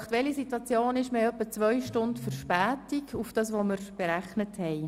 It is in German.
Aktuell haben wir etwa zwei Stunden Verspätung gegenüber der Planung.